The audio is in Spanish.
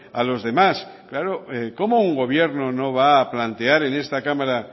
a los demás cómo un gobierno no va a plantear en esta cámara